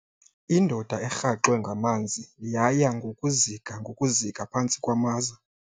Indoda erhaxwe ngamanzi yaya ngokuzika ngokuzika phantsi kwamaza.